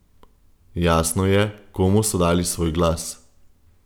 Jasno je, komu so dali svoj glas.